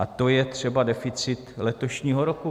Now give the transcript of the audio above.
A to je třeba deficit letošního roku.